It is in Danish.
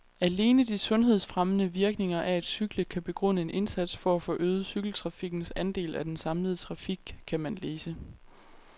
Alene de sundhedsfremmende virkninger af at cykle kan begrunde en indsats for at få øget cykeltrafikkens andel af den samlede trafik, kan man læse.